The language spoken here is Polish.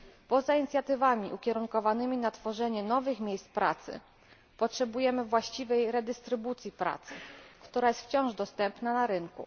Poza inicjatywami ukierunkowanymi na tworzenie nowych miejsc pracy potrzebujemy właściwej redystrybucji pracy, która jest wciąż dostępna na rynku.